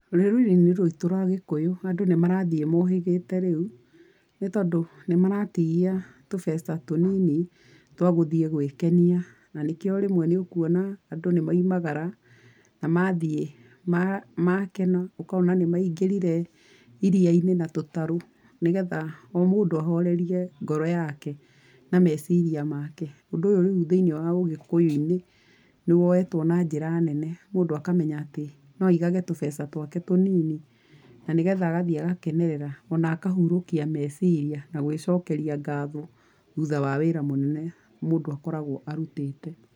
Rũrĩrĩ-inĩ rwitũ rwa Gĩkũyũ andũ nĩ marathiĩ mohĩgĩte rĩu nĩ tondũ nĩ maratigia tũbeca tũnini twa gũthiĩ gwĩkenia na nĩkĩo rĩmwe nĩ ũkuona andũ nĩ moimagara na mathiĩ makena. Ũkona nĩ maigĩrire iria-inĩ na tũtarũ nĩgetha o mũndũ ahorerie ngoro yake na meciria make. Ũndũ ũyũ rĩu thĩinĩ wa ũgĩkũyũ-inĩ nĩ woetwo na njĩra nene, mũndũ akamenya atĩ no aigage tũbeca twake tũnini na nĩgetha agathiĩ gũkenerera na akahurũkia meciria na gwĩcokeria ngatho thutha wa wĩra mũnene mũndũ akoragwo arutĩte.